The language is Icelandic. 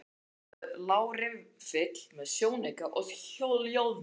Á því lá riffill með sjónauka og hljóðdeyfi.